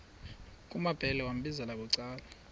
kumambhele wambizela bucala